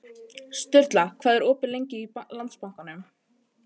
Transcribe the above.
Sturla, hvað er opið lengi í Landsbankanum?